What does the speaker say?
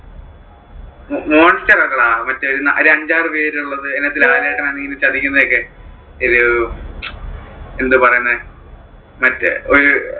monster അല്ലടാ മറ്റേ ഒരു അഞ്ചാറു പേരുള്ളത് അതിനകത്തു ലാലേട്ടൻ ഇറങ്ങി ഇങ്ങനെ ചതിക്കുന്നത് ഒക്കെ ഒരു എന്താ പറയുന്നെ മറ്റേ അഹ് ഒരു